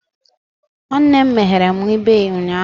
Nwanne m meghere m ibe ụnyahụ.